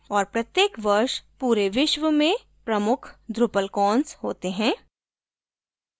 और प्रत्येक वर्ष पूरे विश्व में प्रमुख drupalcons होते हैं